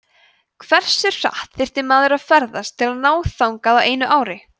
hversu hratt þyrfti maður að ferðast til að ná þangað á einu ári